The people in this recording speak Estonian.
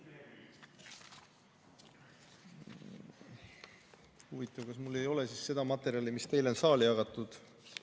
Huvitav, kas mul ei ole siis seda materjali, mis teile on saali jagatud.